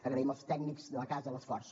agraïm als tècnics de la casa l’esforç